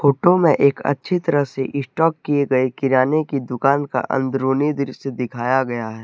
Photo में एक अच्छी तरह से स्टॉक किए गए किराने की दुकान का अंदरूनी दृश्य दिखाया गया है।